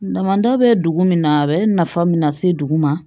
Damanda bɛ dugu min na a bɛ nafa min lase dugu ma